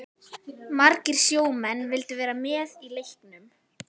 Margir sjómenn vildu vera með í leiknum.